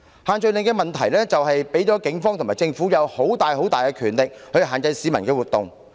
限聚令的問題是，它給予警方和政府莫大權力，以限制市民的活動。